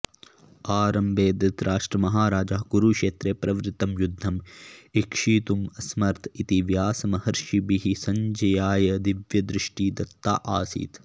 आरम्भे धृतराष्ट्रमहाराजः कुरुक्षेत्रे प्रवृत्तं युध्दम् ईक्षितुम् असमर्थ इति व्यासमहर्षिभिः सञ्जयाय दिव्यदृष्टिः दत्ता आसीत्